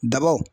Dabaw